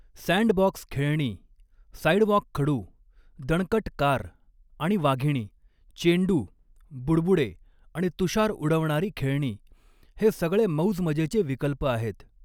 Sandbox खेळणी, sidewalk खडू, दणकट कार आणि वाघिणी, चेंडू, बुडबुडे आणि तुषार उडवणारी खेळणी हे सगळे मौजमजेचे विकल्प आहेत.